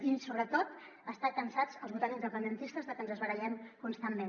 i sobretot estan cansats els votants independentistes de que ens barallem constantment